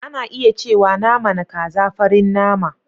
Ana iya cewa naman kaza farin nama.